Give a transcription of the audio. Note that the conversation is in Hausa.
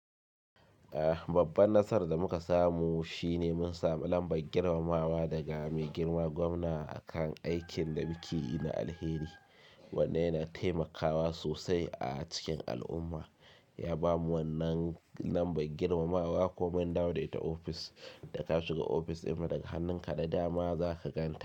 Ah, babban nasar da muka samu shine mun samu lambar girmamawa daga mai girma gwamna akan aikin da muke yi na alheri, wanda yana taimakawa sosai a cikin al'umma. Ya bamu wannan lambar girmamawa kuma in dawo da ita ofis, da ka shiga ofis ɗinmu daga hannun ka da dama za ka ganta.